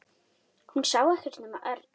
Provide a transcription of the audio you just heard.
Hún sá ekkert nema Örn.